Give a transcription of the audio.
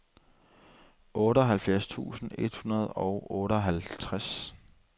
otteoghalvfjerds tusind et hundrede og otteoghalvtreds